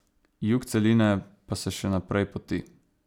Jug celine pa se še naprej poti.